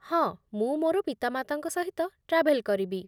ହଁ, ମୁଁ ମୋର ପିତାମାତାଙ୍କ ସହିତ ଟ୍ରାଭେଲ୍ କରିବି।